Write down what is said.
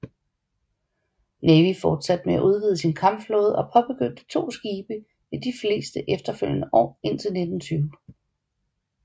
Navy fortsatte med at udvide sin kampflåde og påbegyndte to skibe i de fleste efterfølgende år indtil 1920